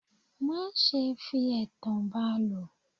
Má ṣe fi ẹ̀tàn ba lò.